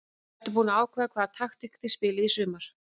Ertu búin að ákveða hvaða taktík þið spilið í sumar?